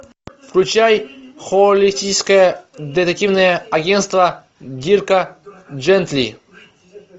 включай холистическое детективное агентство дирка джентли